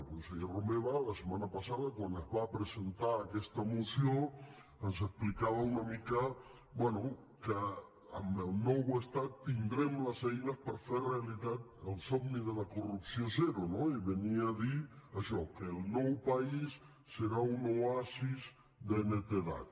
el conseller romeva la setmana passada quan es va presentar aquesta moció ens explicava una mica bé que amb el nou estat tindrem les eines per fer realitat el somni de la corrupció zero no i venia a dir això que el nou país serà un oasi de netedat